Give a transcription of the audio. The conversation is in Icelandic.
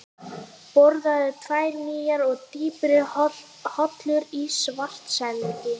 Boraðar tvær nýjar og dýpri holur í Svartsengi